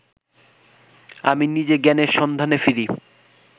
আমি নিজে জ্ঞানের সন্ধানে ফিরি